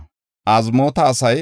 Karima asay 320;